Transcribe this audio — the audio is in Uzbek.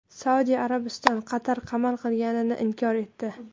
Saudiya Arabistoni Qatar qamal qilinganini inkor etdi.